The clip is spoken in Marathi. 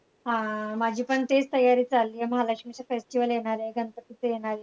आह माझी पण तेच तयारी चाललीये महालक्ष्मीचे festival येणार आहे, गणपतीचं येणार आहे.